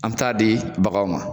An t'a di baganw ma.